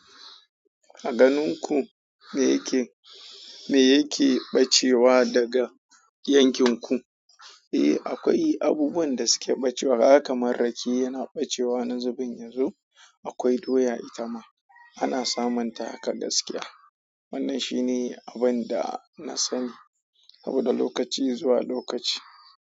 Aganinku, me yake, me yake ɓacewa daga yankinku. Eh, akwai abubuwan da suke ɓacewa kaga kaman rake yana ɓacewa wani zubin yazo. Akwai doya ita ma ana samunta haka gaskiya. Wannan shi ne abin da na sani saboda lokaci zuwa lokaci.